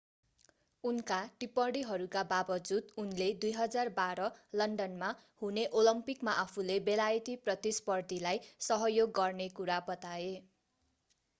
उनका टिप्पणीहरूका बाबजुद उनले 2012 लन्डनमा हुने ओलम्पिकमा आफूले बेलायती प्रतिस्पर्धीलाई सहयोग गर्ने कुरा बताए